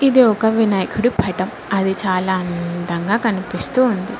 ఇది ఒక వనాయకుడి పట్టం అది చాలా అందంగా కనిపిస్తూ ఉంది.